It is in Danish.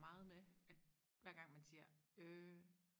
meget med hver gang man siger øh